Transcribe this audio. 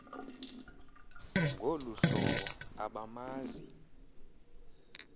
ngolu hlobo abamazi